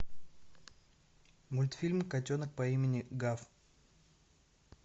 мультфильм котенок по имени гав